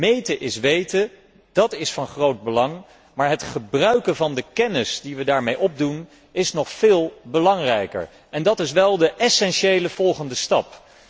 Meten is weten, dat is van groot belang, maar het gebruiken van de kennis die we daarmee opdoen is nog veel belangrijker en dat is wel de essentiële volgende stap.